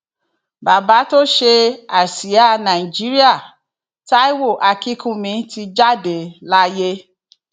bàbá tó ṣe àsíá nàìjíríà taiwo akínkùnmí ti jáde láyé